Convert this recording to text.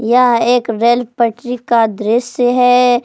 यह एक रेल पटरी का दृश्य है।